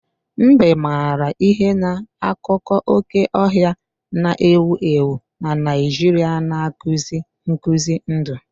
Mbe maara ihe na akụkọ oke ọhịa na-ewu ewu na Naijiria na-akụzi nkuzi ndụ.